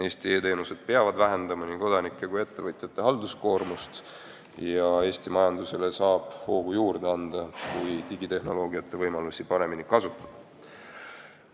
Eesti e-teenused peavad vähendama nii kodanike kui ettevõtjate halduskoormust ja Eesti majandusele saab hoogu juurde anda, kui digitehnoloogiate võimalusi paremini kasutada.